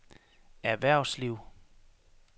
erhvervsliv